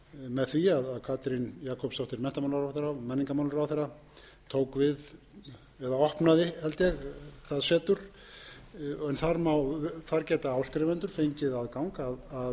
með því að katrín jakobsdóttir menntamálaráðherra og menningarmálaráðherra tók við eða opnaði held ég það setur en þar geta áskrifendur fengið aðgang að